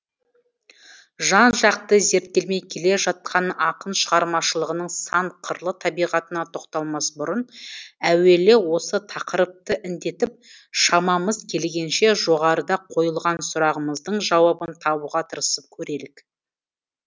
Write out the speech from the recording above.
жан жақты зерттелмей келе жатқан ақын шығармашылығының сан қырлы табиғатына тоқталмас бұрын әуелі осы тақырыпты індетіп шамамыз келгенше жоғарыда қойылған сұрағымыздың жауабын табуға тырысып көрелік